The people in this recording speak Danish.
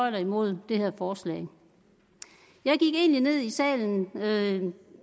eller imod det her forslag jeg gik egentlig ned i salen med